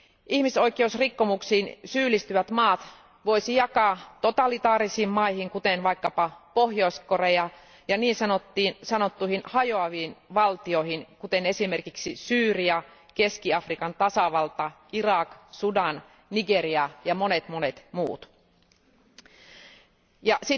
Ihmisoikeusrikkomuksiin syyllistyvät maat voisi jakaa totalitaarisiin maihin, kuten vaikkapa Pohjois Korea, ja niin sanottuihin hajoaviin valtioihin, kuten esimerkiksi Syyria, Keski Afrikan tasavalta, Irak, Sudan, Nigeria ja monet monet muut, ja